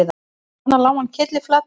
Þarna lá hann kylliflatur